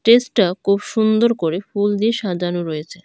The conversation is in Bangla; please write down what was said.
টেস্টা খুব সুন্দর করে ফুল দিয়ে সাজানো রয়েছে।